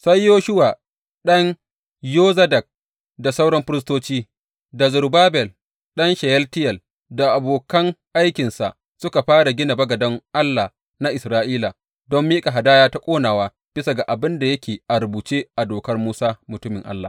Sai Yeshuwa ɗan Yozadak da sauran firistoci, da Zerubbabel ɗan Sheyaltiyel da abokan aikinsa, suka fara gina bagaden Allah na Isra’ila don miƙa hadaya ta ƙonawa bisa ga abin da yake a rubuce a Dokar Musa mutumin Allah.